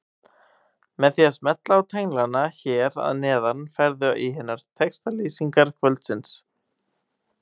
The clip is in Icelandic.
Með því að smella á tenglana hér að neðan ferðu í hinar textalýsingar kvöldsins.